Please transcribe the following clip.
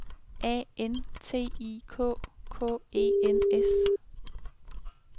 A N T I K K E N S